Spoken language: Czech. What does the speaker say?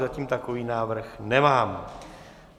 Zatím takový návrh nemám.